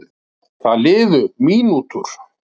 Það liðu mínútur.